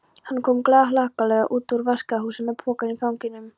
Hann kom glaðhlakkalegur út úr vaskahúsinu með pokann í fanginu.